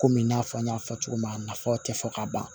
Komi i n'a fɔ n y'a fɔ cogo min na nafa tɛ fɔ ka ban